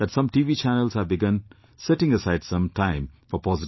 channels have begun setting aside some time for positive news